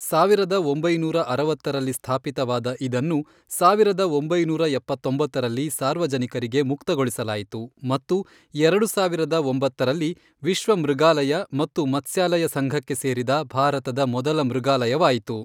ಸಾವಿರದ ಒಂಬೈನೂರ ಅರವತ್ತರಲ್ಲಿ ಸ್ಥಾಪಿತವಾದ ಇದನ್ನು ಸಾವಿರದ ಒಂಬೈನೂರ ಎಪತ್ತೊಂಬತ್ತರಲ್ಲಿ ಸಾರ್ವಜನಿಕರಿಗೆ ಮುಕ್ತಗೊಳಿಸಲಾಯಿತು ಮತ್ತು ಎರಡು ಸಾವಿರದ ಒಂಬತ್ತರಲ್ಲಿ ವಿಶ್ವ ಮೃಗಾಲಯ ಮತ್ತು ಮತ್ಸ್ಯಾಲಯ ಸಂಘಕ್ಕೆ ಸೇರಿದ ಭಾರತದ ಮೊದಲ ಮೃಗಾಲಯವಾಯಿತು.